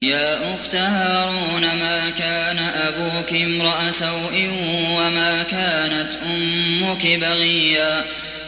يَا أُخْتَ هَارُونَ مَا كَانَ أَبُوكِ امْرَأَ سَوْءٍ وَمَا كَانَتْ أُمُّكِ بَغِيًّا